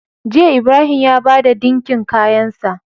Jiya Ibrahim ya bada dinkin kayan sa